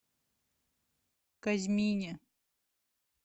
казьмине